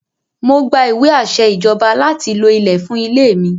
Mo gba ìwé àṣẹ Ìjọba láti lo ilẹ̀ fún ilẹ̀ mi.